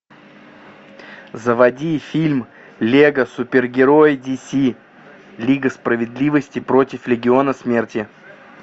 заводи фильм лего супергерои диси лига справедливости против легиона смерти